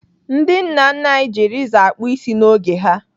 Ndị nna nna anyị ji rezọ akpụ isi n'oge ha.